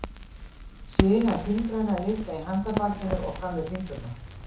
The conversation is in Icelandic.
sinar fingranna liggja í handarbakinu og fram í fingurna